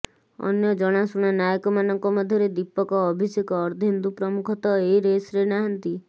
ଅନ୍ୟ ଜଣାଶୁଣା ନାୟକମାନଙ୍କ ମଧ୍ୟରେ ଦୀପକ ଅଭିଷେକ ଅର୍ଦ୍ଧେନ୍ଦୁ ପ୍ରମୁଖ ତ ଏ ରେସରେ ନାହାଁନ୍ତି